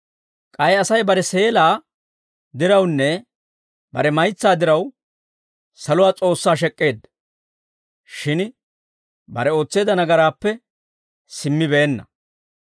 K'ay Asay bare seelaa dirawunne bare maytsaa diraw saluwaa S'oossaa shek'k'eedda. Shin bare ootseedda nagaraappe simmibeenna.